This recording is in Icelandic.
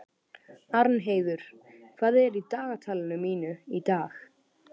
Arnheiður, hvað er í dagatalinu mínu í dag?